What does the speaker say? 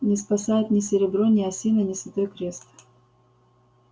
не спасает ни серебро ни осина ни святой крест